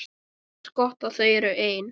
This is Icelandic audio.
Henni finnst gott að þau eru ein.